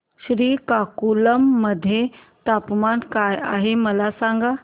श्रीकाकुलम मध्ये तापमान काय आहे मला सांगा